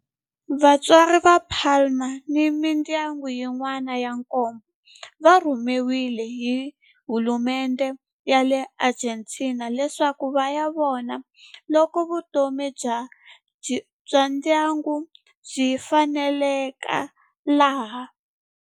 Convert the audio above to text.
Vatswari va Palma ni mindyangu yin'wana ya nkombo va rhumeriwe hi hulumendhe ya le Argentina leswaku va ya vona loko vutomi bya ndyangu byi faneleka laha.